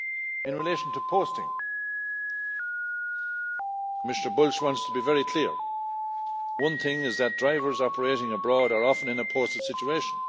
In relation to posting Commissioner Bulc wants to be very clear. One thing is that drivers operating abroad are often in a posted situation.